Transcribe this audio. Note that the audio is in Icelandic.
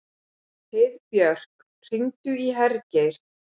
Heiðbjörk, hringdu í Hergeir.